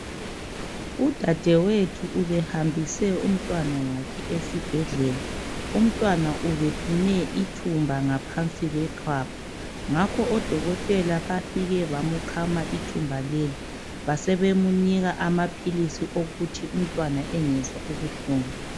Udadewethu ubehambise umntwana wakhe esibhedlela umntwana ubephume ithumba ngaphansi kwekhwapha ngakho odokotela bafike bamkhama ithumba leli basebemunika maphilisi okuthi umntwana engezwa ubuhlungu.